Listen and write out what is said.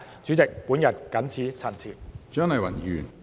主席，我謹此陳辭。